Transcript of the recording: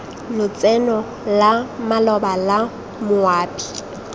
lotseno la maloba la moabi